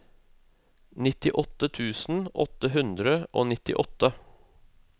nittiåtte tusen åtte hundre og nittiåtte